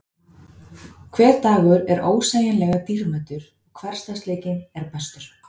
Hver dagur er ósegjanlega dýrmætur og hversdagsleikinn er bestur.